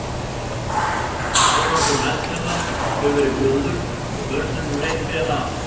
Árangur meðferðar hefur verið góður og börnunum reitt vel af.